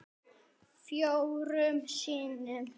Fjórum sinnum